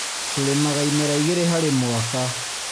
Tũrĩmaga imera igĩrĩ harĩ mwaka.